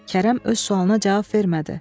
Kərəm öz sualına cavab vermədi.